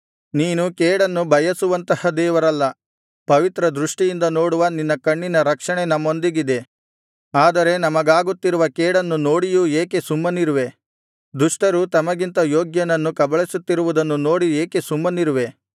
ನೀನು ಕೇಡನ್ನು ಬಯಸುವಂತಹ ದೇವರಲ್ಲ ಪವಿತ್ರ ದೃಷ್ಟಿಯಿಂದ ನೋಡುವ ನಿನ್ನ ಕಣ್ಣಿನ ರಕ್ಷಣೆ ನಮ್ಮೊಂದಿಗಿದೆ ಆದರೆ ನಮಗಾಗುತ್ತಿರುವ ಕೇಡನ್ನು ನೋಡಿಯೂ ಏಕೆ ಸುಮ್ಮನಿರುವೆ ದುಷ್ಟರು ತಮಗಿಂತ ಯೋಗ್ಯನನ್ನು ಕಬಳಿಸುತ್ತಿರುವುದನ್ನು ನೋಡಿ ಏಕೆ ಸುಮ್ಮನಿರುವೇ